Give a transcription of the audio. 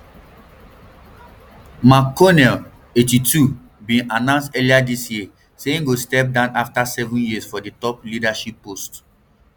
mcconnell eighty-two bin announce earlier dis year say im go step down afta seven years for di top leadership post